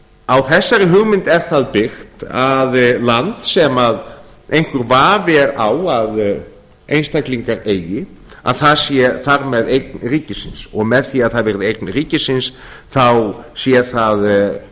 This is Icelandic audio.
á þessari hugmynd er það byggt að land sem einhver vafi er á að einstaklingar eigi að það sé þar með orðin eign ríkisins og með því að það verði eign ríkisins þá sé